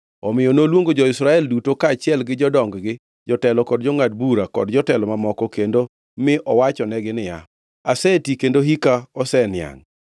omiyo noluongo jo-Israel duto kaachiel gi jodong-gi, jotelo, jongʼad bura kod jotelo mamoko kendo mi owachonegi niya, “Aseti kendo hika oseniangʼ.